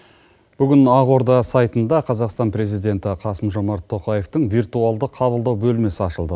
бүгін ақорда сайтында қазақстан президенті қасым жомарт тоқаевтың виртуалды қабылдау бөлмесі ашылды